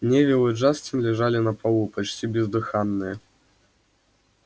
невилл и джастин лежали на полу почти бездыханные